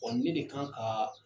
ne de kan ka